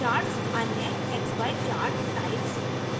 2 अन्य xy chart types